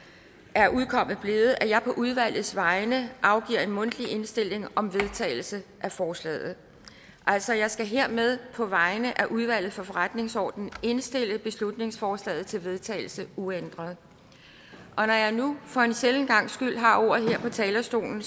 er udkommet blevet at jeg på udvalgets vegne afgiver en mundtlig indstilling om vedtagelse af forslaget altså jeg skal hermed på vegne af udvalget for forretningsordenen indstille beslutningsforslaget til vedtagelse uændret når jeg nu for en sjælden gangs skyld har ordet her på talerstolen